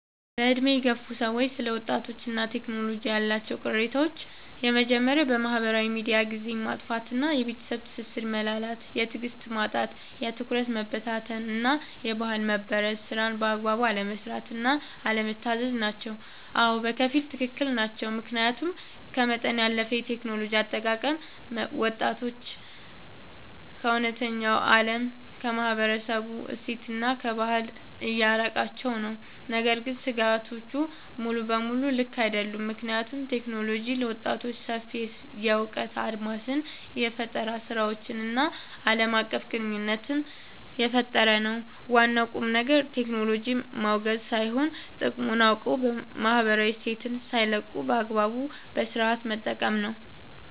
በዕድሜ የገፉ ሰዎች ስለ ወጣቶችና ቴክኖሎጂ ያላቸው ቅሬታዎች የመጀመርያው በማህበራዊ ሚዲያ ጊዜን ማጥፋት እና የቤተሰብ ትስስር መላላት። የትዕግስት ማጣት፣ የትኩረት መበታተን እና የባህል መበረዝ። ስራን በአግባቡ አለመስራት እና አለመታዘዝ ናቸው። አዎ፣ በከፊል ትክክል ናቸው። ምክንያቱም ከመጠን ያለፈ የቴክኖሎጂ አጠቃቀም ወጣቶችን ከእውነተኛው ዓለም፣ ከማህበረሰብ እሴትና ከባህል እያራቃቸው ነው። ነገር ግን ስጋቶቹ ሙሉ በሙሉ ልክ አይደሉም፤ ምክንያቱም ቴክኖሎጂ ለወጣቶች ሰፊ የእውቀት አድማስን፣ የፈጠራ ስራዎችን እና ዓለም አቀፍ ግንኙነት እየፈጠረ ነው። ዋናው ቁልፍ ነገር ቴክኖሎጂን ማውገዝ ሳይሆን፣ ጥቅሙን አውቆ ማህበራዊ እሴትን ሳይለቁ በአግባቡ እና በስነሥርዓት መጠቀም ነው።